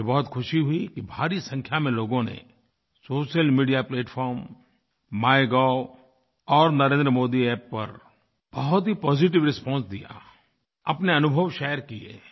मुझे बहुत ख़ुशी हुई कि भारी संख्या में लोगों ने सोशल मीडिया प्लैटफार्म माइगोव और नरेंद्रमोदी App पर बहुत ही पॉजिटिव रिस्पांस दिया अपने अनुभव शेयर किये